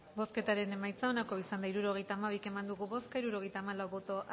bozketaren emaitza onako izan da hirurogeita hamabi eman dugu bozka hirurogeita hamalau boto